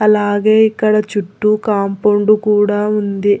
అలాగే ఇక్కడ చుట్టూ కాంపౌండు కూడా ఉంది.